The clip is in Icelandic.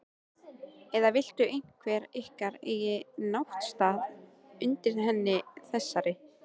Eða vill einhver ykkar eiga náttstað undir henni þessari?